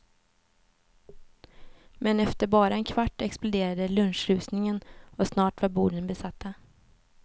Men efter bara en kvart exploderade lunchrusningen och snart var borden besatta.